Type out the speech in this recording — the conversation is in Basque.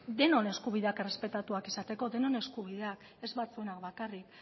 denon eskubideak errespetatuak izateko ez batzuenak bakarrik